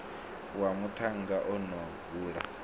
wa muṱhannga o no hula